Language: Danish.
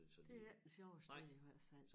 Det er ikke det sjoveste i hvert fald